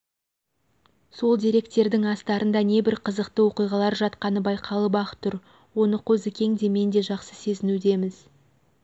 сол деректердің астарында небір қызықты оқиғалар жатқаны байқалып-ақ тұр оны қозыкең де мен де жақсы сезінудеміз